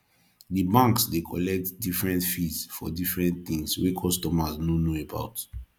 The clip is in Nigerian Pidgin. di banks dey collect different fees for different things wey customers no know about